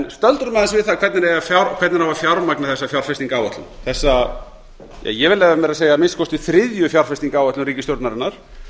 stöldrum aðeins við það hvernig eigi að fjármagna þessar fjárfestingaráætlun þessa ég vil leyfa mér að segja að minnsta kosti þriðju fjárfestingaráætlun ríkisstjórnarinnar